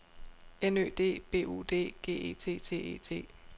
N Ø D B U D G E T T E T